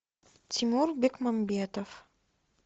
тимур бекмамбетов